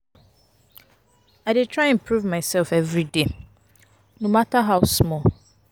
I dey try improve mysef everyday no mata how small.